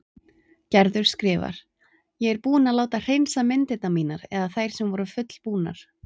Gerður skrifar: Ég er búin að láta hreinsa myndirnar mínar eða þær sem voru fullbúnar.